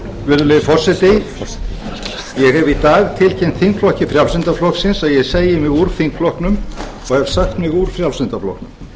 virðulegi forseti ég hef í dag tilkynnt þingflokki frjálslynda flokksins að ég segi mig úr þingflokknum og hef sagt mig úr frjálslynda flokknum